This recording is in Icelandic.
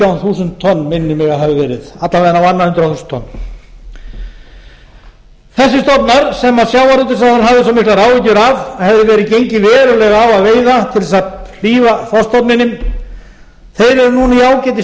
þúsund tonn minnir mig að hafi verið alla vega á annað hundrað þúsund tonn þessir stofna sem sjávarútvegsráðherra hafði svo miklar áhyggjur af hefði verið gengið verulega á að veiða til að hlífa þorskstofninum þeir eru núna í